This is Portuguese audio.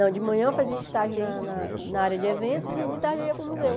de manhã eu fazia estágio na na na área de eventos e de tarde eu ia para o museu.